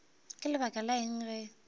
ka lebaka la eng ge